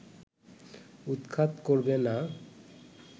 উৎখাত করবে না